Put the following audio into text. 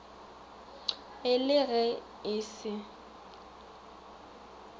e le ge e se